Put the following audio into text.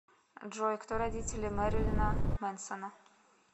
джой кто родители мэрилина мэнсона